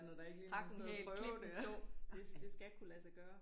Hak en hæl klip en tå